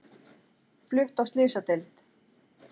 Flutt á slysadeild